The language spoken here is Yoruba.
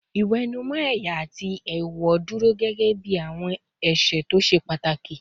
Ìwẹ̀nùmọ́ ẹ̀yà àti èèwọ̀ dúró gẹ́gẹ́ bí àwọn ẹ̀ṣẹ̀ tó ṣe pàtàkì